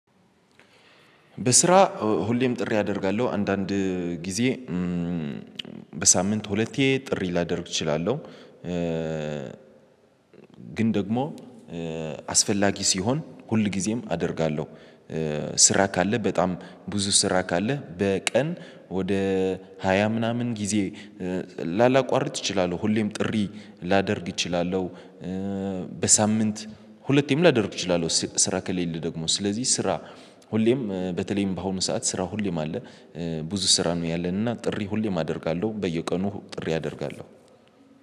በስራ ሁሌም ጥሪ አደርጋለሁ አንዳንድ ጊዜ በሳምንት ሁለቴ ጥሪ ላደርግ እችላለሁ። ግን ደግሞ አስፈላጊ ሲሆን ሁል ጊዜም አደርጋለሁ። ስራ ካለ በጣም ብዙ ስራ ካለ በቀን ወደ ሃያ ምናምን ጊዜ ላላቋርጥ እችላለሁ ሁሌም ጥሪ ላደርግ እችላለሁ። በሳምንት ሁለቴም ላደርግ እችላለሁ። ስራ ከሌለ ደግሞ ስለዚህ ስራ ሁሌም በተለይም በአሁኑ ሰዓት ስራ ሁሌም አለ። ብዙ ስራ ነው ያለን እና ጥሪ ሁሌም አደርጋለሁ። በየቀኑ ጥሪ አደርጋለሁ።